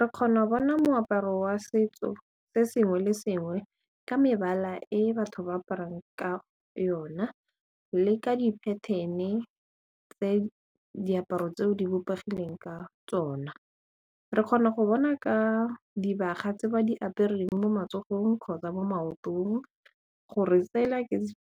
Re kgono bona moaparo wa setso se sengwe le sengwe ka mebala e batho ba aparang ka yona le ka di-pattern-e tse diaparo tseo di bopegileng ka tsona re kgona go bona ka dibaga tse ba di apereng mo matsogong kgotsa mo maotong gore sela